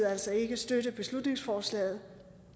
altså ikke støtte beslutningsforslaget